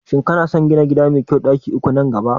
Shin kana son gina gida mai ɗaki uku nan gaba?